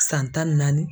San tan ni naani